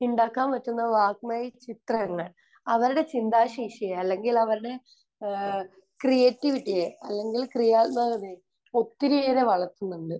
ഉണ്ടാക്കാൻ പറ്റുന്ന വാഗ്മയചിത്രങ്ങൾ അവരുടെ ചിന്താശേഷിയെ അല്ലെങ്കിൽ അവരുടെ ഏഹ് ക്രീയേറ്റിവിറ്റിയെ അല്ലെങ്കിൽ ക്രിയാത്മകതയെ ഒത്തിരിയേറെ വളർത്തുന്നുണ്ട്.